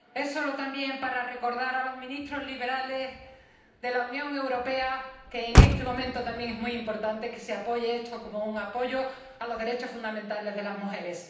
Solo quiero recordar a los ministros liberales de la Unión Europea que en este momento es también muy importante que se respalde este informe como un apoyo a los derechos fundamentales de las mujeres.